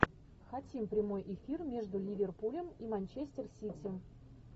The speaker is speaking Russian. хотим прямой эфир между ливерпулем и манчестер сити